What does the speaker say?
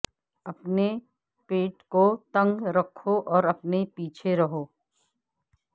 اپنے پیٹ کو تنگ رکھو اور اپنے پیچھے رہو